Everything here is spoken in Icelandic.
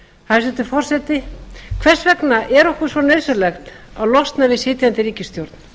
hæstvirtur forseti hvers vegna er okkur svo nauðsynlegt að losna við sitjandi ríkisstjórn